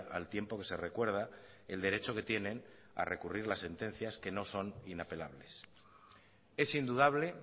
al tiempo que se recuerda el derecho que tienen q recurrir las sentencias que no son inapelables es indudable